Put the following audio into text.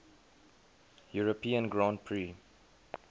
european grand prix